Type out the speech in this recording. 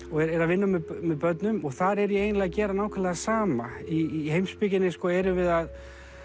og er að vinna með börnum og þar er ég eiginlega að gera nákvæmlega það sama í heimspekinni erum við að